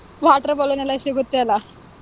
Water balloon ಎಲ್ಲಾ ಸಿಗುತ್ತೆ ಅಲ್ಲಾ,